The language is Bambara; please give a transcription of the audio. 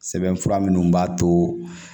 Sɛbɛn fura minnu b'a to